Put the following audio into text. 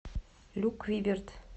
люк виберт